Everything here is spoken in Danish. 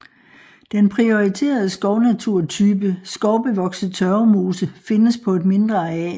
Den prioriterede skovnaturtype skovbevokset tørvemose findes på et mindre areal